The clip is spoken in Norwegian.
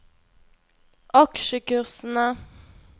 aksjekursene